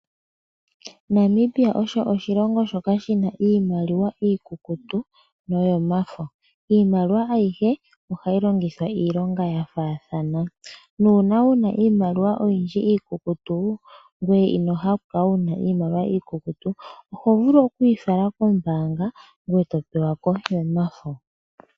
Namibia osho oshilongo shoka shi na iimaliwa iikukutu noyomafo. Iimaliwa ayihe ohayi longithwa iilonga ya faathana. Nuuna wuna iimaliwa oyindji iikukutu ngoye ino hala oku kala wuna iimaliwa oyindji iikukutu, oho vulu okuyi fala kombaanga ngoye to pewako yomafo.